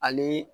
Ale